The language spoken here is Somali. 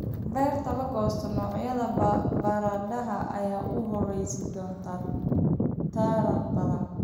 Beerta la goosto noocyada baradhada ayaa u horseedi doona taran badan